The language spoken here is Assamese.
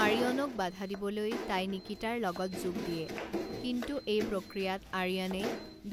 আৰিয়ানক বাধা দিবলৈ তাই নিকিতাৰ লগত যোগ দিয়ে, কিন্তু এই প্ৰক্ৰিয়াত আৰিয়ানে